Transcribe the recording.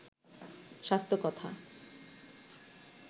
স্বাস্থ্য কথা